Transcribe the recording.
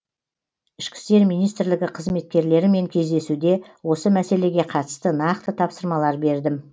ішкі істер министрлігі қызметкерлерімен кездесуде осы мәселеге қатысты нақты тапсырмалар бердім